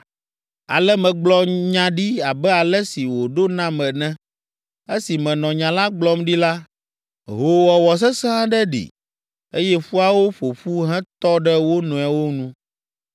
Ale megblɔ nya ɖi abe ale si wòɖo nam ene. Esi menɔ nya la gblɔm ɖi la, hoowɔwɔ sesẽ aɖe ɖi, eye ƒuawo ƒo ƒu hetɔ ɖe wo nɔewo nu.